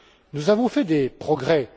Nous avons fait des progrès.